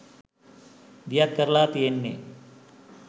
දියත් කරලා තියෙන්නේ.